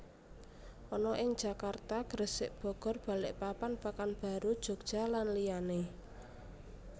ana ing Jakarta Gresik Bogor Balikpapan Pekanbaru Jogja lan liyane